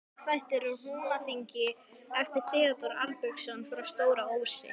Sagnaþættir úr Húnaþingi eftir Theódór Arnbjörnsson frá Stóra-Ósi